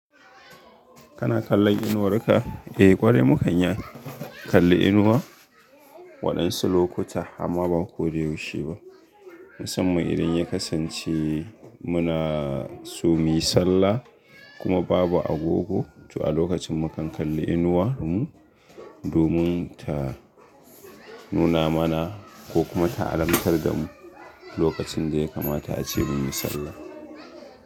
Kana kallon inuwar ka? Eh ƙwarai mu kan iya kalli inuwa waɗansu lokuta amma ba koda yaushe ba. Musamman idan ya kasance muna so muyi sallah kuma babu agogo to a lokacin mu kan kalli inuwar mu domin ta nuna mana ko kuma ta alamtar da mu lokacin da ya kamata ace muyi sallah.